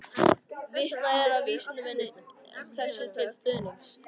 Vitnað er í vísindamenn þessu til stuðnings.